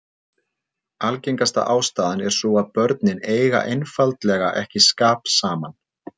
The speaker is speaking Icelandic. Algengasta ástæðan er sú að börnin eigi einfaldlega ekki skap saman.